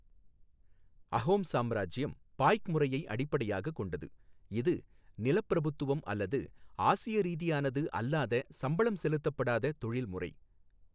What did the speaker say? அஹோம் சாம்ராஜ்யம் பாய்க் முறையை அடிப்படையாகக் கொண்டது, இது நிலப்பிரபுத்துவம் அல்லது ஆசிய ரீதியானது அல்லாத சம்பளம் செலுத்தப்படாத தொழில் முறை.